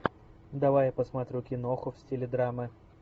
давай я посмотрю киноху в стиле драмы